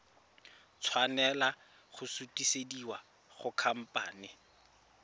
tshwanela go sutisediwa go khamphane